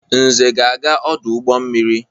Nze ga-aga ọdụ ụgbọ mmiri.